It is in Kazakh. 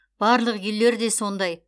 барлық үйлер де сондай